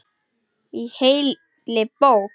Í heilli bók.